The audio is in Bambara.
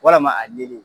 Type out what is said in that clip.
Walama a nili